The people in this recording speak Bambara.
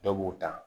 Dɔw b'u ta